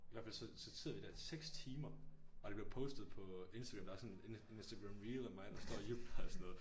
I hvert fald så så sidder vi der i 6 timer og det bliver postet på instagram der er sådan en instagram reel a mig der står og jubler og sådan noget